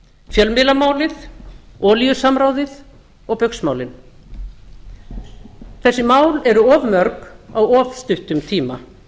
fjölmiðlamálið olíusamráðið og baugsmálin þessi mál eru of mörg á of stuttum tíma þau